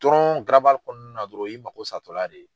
dɔrɔn garabali kɔnɔna na dɔrɔn o y'i mako satɔ la de ye.